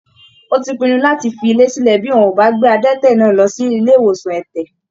Ó ti pinnu láti fi ilé sílẹ bí wọn ò bá gbé adẹ́tẹ̀ náà lọ sí ilé ìwòsan ẹ̀tẹ̀.